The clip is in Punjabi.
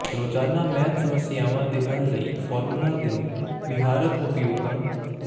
ਰੋਜ਼ਾਨਾ ਮੈਥ ਸਮੱਸਿਆਵਾਂ ਦੇ ਹੱਲ ਲਈ ਫਾਰਮੂਲਾ ਦੇ ਵਿਹਾਰਕ ਉਪਯੋਗਾਂ